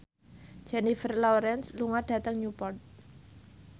Jennifer Lawrence lunga dhateng Newport